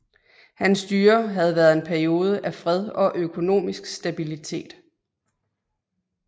Hans styre havde været en periode af fred og økonomisk stabilitet